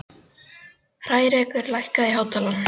Hrærekur, lækkaðu í hátalaranum.